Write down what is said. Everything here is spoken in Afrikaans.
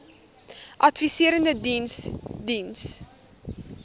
adviserende diens diens